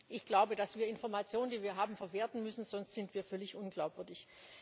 Ich glaube, dass wir Informationen, die wir haben, verwerten müssen, sonst sind wir völlig unglaubwürdig.